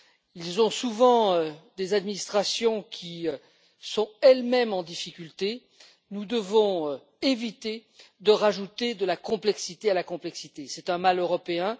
Ils ont souvent des administrations qui sont elles mêmes en difficulté nous devons éviter d'ajouter de la complexité à la complexité, c'est un mal européen.